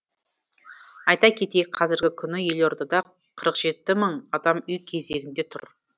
айта кетейік қазіргі күні елордада қырық жеті мың адам үй кезегінде тұр